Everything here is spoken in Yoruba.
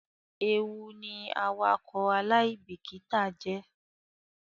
Ewu ni awakọ alaibikita jẹ.